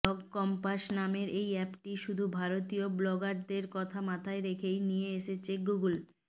blog compass নামের এই অ্যাপটি শুধু ভারতীয় ব্লগারদের কথা মাথায় রেখেই নিয়ে এসেছে গুগল